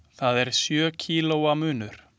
Það er sjö kílóa munur.